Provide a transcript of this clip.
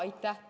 Aitäh!